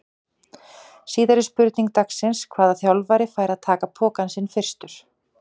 Síðari spurning dagsins: Hvaða þjálfari fær að taka pokann sinn fyrstur?